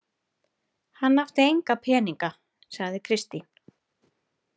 Hann átti enga peninga, sagði Kristín.